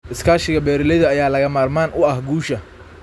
Iskaashiga beeralayda ayaa lagama maarmaan u ah guusha.